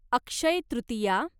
Akshaya Tritiya